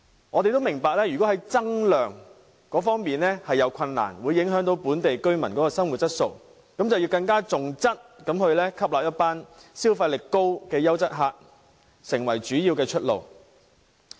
我們明白要增加旅客量存在困難，會影響本地居民的生活質素，所以政府更應該重質，以吸納消費力高的優質旅客作為主要出路。